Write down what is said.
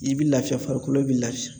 I bi lafiya farikolo bi lafiya.